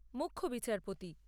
মুখ্য বিচারপতি